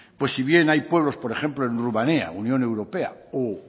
pues si bien hay pueblos por ejemplo en rumania unión europea o